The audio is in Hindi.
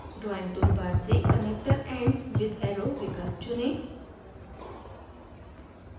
drawing toolbar से connector ends with arrow विकल्प चुनें